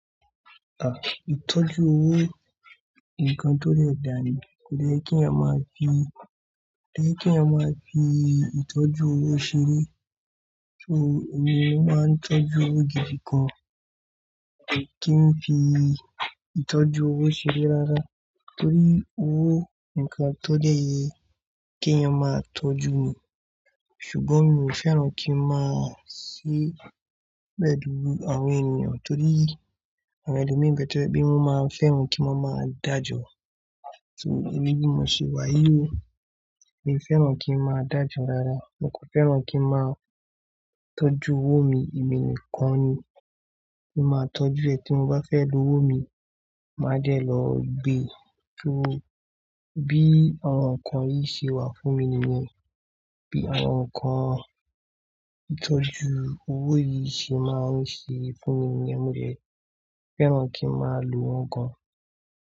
À, ìtọ́jú owó nǹkan tó dè dánì, kò de ye ki a máa fi, kò de ye ki a máa fi ìtọ́jú owó ṣeré. So, èmi máa ń tọ́jú owó gidi gan, kì í fi ìtọ́jú owó ṣeré rárá torí owó nǹkan tó jẹ́ye kí ẹ̀eyan máa tọ́jú u. Ṣùgbọ́n mi ò fẹ́ràn kí n máa sí pẹ̀lú àwọn ènìyàn torí àwọn ẹlòmíràn pẹ̀tẹ́ẹ̀bí wọn máa ń fẹ́ràn kí wọ́n máa dájọ. So èmi bí mo ṣe wà yìí o, mi ò fẹ́ràn kí n máa dájọ rárá. Mo kò fẹ́ràn kí n máa tọ́jú owó mi, èmi nìkan ni mo máa tọ́jú ẹ. Tí mo bá fẹ́ lo owó mi, màá dẹ́ lọ gbé. So bí àwọn nǹkan yìí ṣe wà fún mi nìyẹn. Bí àwọn nǹkan ìtọ́jú owó yìí ṣe máa ń ṣe fún mi nìyẹn. Mo dẹ́ fẹ́ràn kí ń máa lo wọn gan.